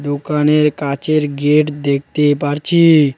দোকানের কাঁচের গেট দেখতে পারছি।